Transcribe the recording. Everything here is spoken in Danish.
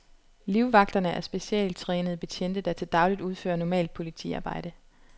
Livvagterne er specialtrænede betjente, der til dagligt udfører normalt politiarbejde.